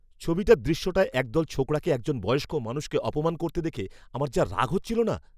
ছবিটার দৃশ্যটায় একদল ছোকরাকে একজন বয়স্ক মানুষকে অপমান করতে দেখে আমার যা রাগ হচ্ছিল না!